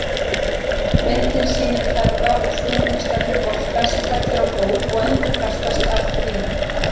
Myndin sýnir ferða- og snúningsstefnu bolta sem fellur á gólf og endurkastast af því.